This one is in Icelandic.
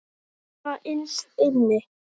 Svona innst inni.